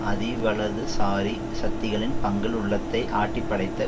அதிவலதுசாரி சக்திகளின் பங்கில் உள்ளத்தை ஆட்டிப்படைத்த